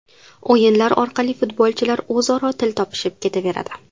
O‘yinlar orqali futbolchilar o‘zaro til topishib ketaveradi.